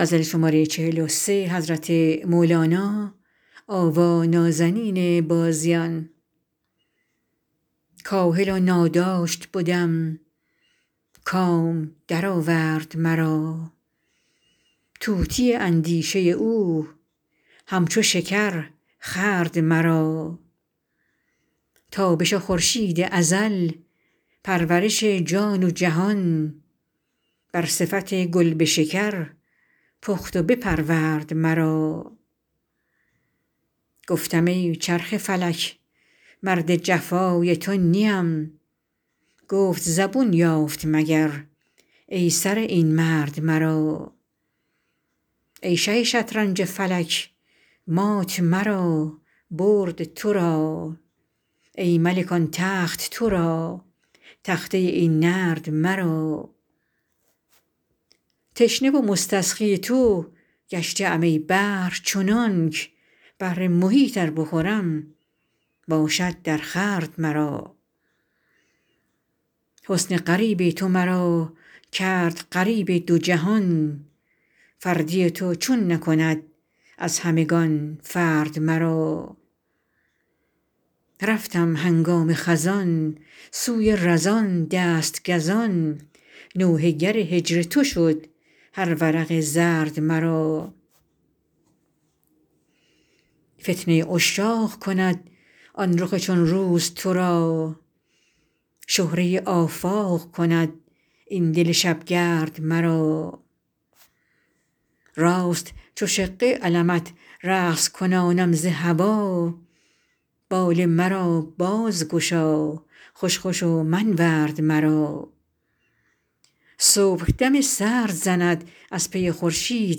کاهل و ناداشت بدم کام درآورد مرا طوطی اندیشه او همچو شکر خورد مرا تابش خورشید ازل پرورش جان و جهان بر صفت گل به شکر پخت و بپرورد مرا گفتم ای چرخ فلک مرد جفای تو نیم گفت زبون یافت مگر ای سره این مرد مرا ای شه شطرنج فلک مات مرا برد تو را ای ملک آن تخت تو را تخته این نرد مرا تشنه و مستسقی تو گشته ام ای بحر چنانک بحر محیط ار بخورم باشد درخورد مرا حسن غریب تو مرا کرد غریب دو جهان فردی تو چون نکند از همگان فرد مرا رفتم هنگام خزان سوی رزان دست گزان نوحه گر هجر تو شد هر ورق زرد مرا فتنه عشاق کند آن رخ چون روز تو را شهره آفاق کند این دل شبگرد مرا راست چو شقه علمت رقص کنانم ز هوا بال مرا بازگشا خوش خوش و منورد مرا صبح دم سرد زند از پی خورشید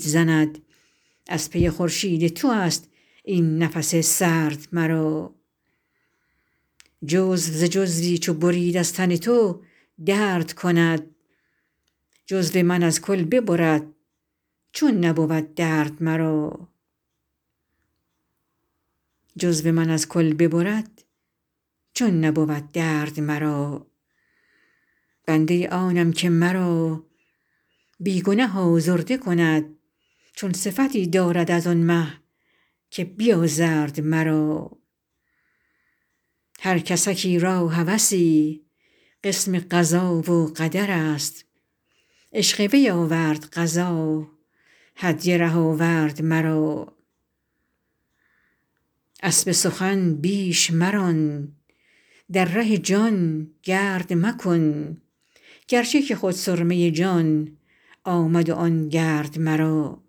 زند از پی خورشید تو است این نفس سرد مرا جزو ز جزوی چو برید از تن تو درد کند جزو من از کل ببرد چون نبود درد مرا بنده آنم که مرا بی گنه آزرده کند چون صفتی دارد از آن مه که بیازرد مرا هر کسکی را هوسی قسم قضا و قدر است عشق وی آورد قضا هدیه ره آورد مرا اسب سخن بیش مران در ره جان گرد مکن گرچه که خود سرمه جان آمد آن گرد مرا